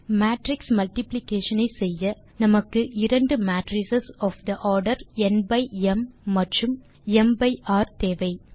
matrix multiplication ஐ செய்ய நமக்கு இரண்டு matrix of the order n by m மற்றும் ம் பை ர் தேவை